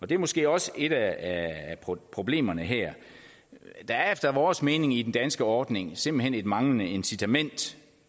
det er måske også et af problemerne her der er efter vores mening i den danske ordning simpelt hen et manglende incitament